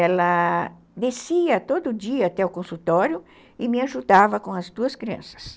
Ela descia todo dia até o consultório e me ajudava com as duas crianças.